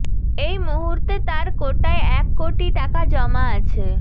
এই মুহুর্তে তার কোটায় এক কোটি টাকা জমা আছে